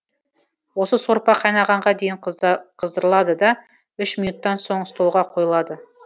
осы сорпа қайнағанға дейін қыздырылады да үш минуттан соң столға қойылады